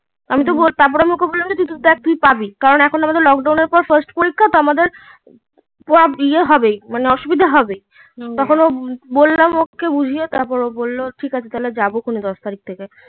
আমি তো বলল বললাম দেখ তুই পাবি কারণ এখন আমাদের লক ডাউন এর পর fast পরীক্ষা তো আমাদের তো ইএ হবে মানে অসুবিধা হবে বললাম ওকে বুঝিয়ে তার পর ও বললো ঠিকাছে যাবে দশ তারিক থেকে